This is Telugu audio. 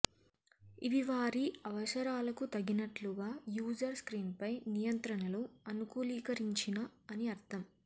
ఇవి వారి అవసరాలకు తగినట్లుగా యూజర్ స్క్రీన్పై నియంత్రణలు అనుకూలీకరించిన అని అర్థం